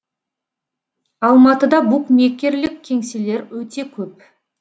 алматыда букмекерлік кеңселер өте көп